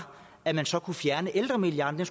at man så kunne fjerne ældremilliarden